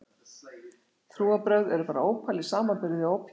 Trúarbrögð eru bara ópal í samanburði við ópíum kvikmyndanna.